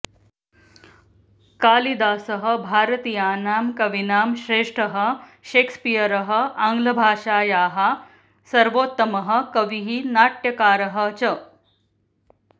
कालिदासः भारतीयानां कवीनां श्रेष्ठः शेक्स्पीयरः आङ्ग्लभाषायाः सर्वोत्तमः कविः नाट्यकारः च